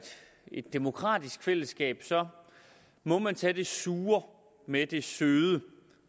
et demokratisk fællesskab må man tage det sure med det søde